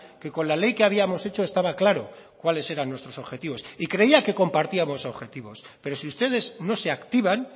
que con la ley que habíamos hecho estaba claro cuáles eran nuestros objetivos y creía que compartíamos objetivos pero si ustedes no se activan